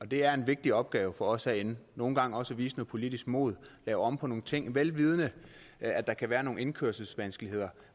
det er en vigtig opgave for os herinde nogle gange også at vise noget politisk mod og lave om på nogle ting vel vidende at der kan være nogle indkøringsvanskeligheder